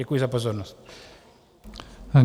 Děkuji za pozornost.